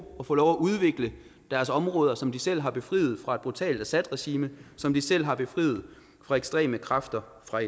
og få lov at udvikle deres områder som de selv har befriet fra et brutalt assadregime som de selv har befriet fra ekstreme kræfter fra